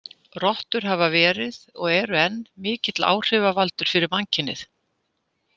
Rottur hafa verið, og eru enn, mikill áhrifavaldur fyrir mannkynið.